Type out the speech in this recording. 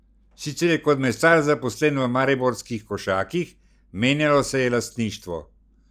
Sicer je kot mesar zaposlen v mariborskih Košakih: 'Menjalo se je lastništvo.